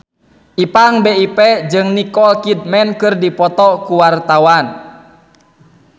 Ipank BIP jeung Nicole Kidman keur dipoto ku wartawan